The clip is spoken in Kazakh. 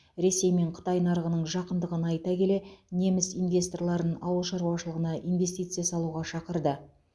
ресей мен қытай нарығының жақындығын айта келе неміс инвесторларын ауыл шаруашылығына инвестиция салуға шақырды